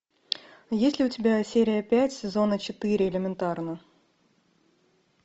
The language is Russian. есть ли у тебя серия пять сезона четыре элементарно